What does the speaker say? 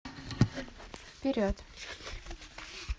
вперед